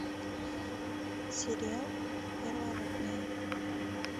сериал первородные